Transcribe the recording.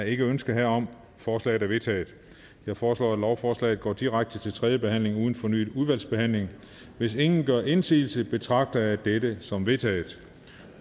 ikke ønske herom og forslaget er vedtaget jeg foreslår at lovforslaget går direkte til tredje behandling uden fornyet udvalgsbehandling hvis ingen gør indsigelse betragter jeg det som vedtaget